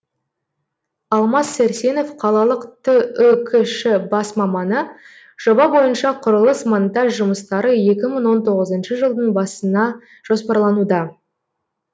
алмас сәрсенов қалалық түкш бас маманы жоба бойынша құрылыс монтаж жұмыстары екі мың он тоғызыншы жылдың басына жоспарлануда